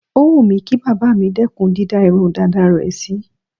Ó wù mí kí bàbá mi dẹ́kùn dídá irun dàda rẹ̀ sí.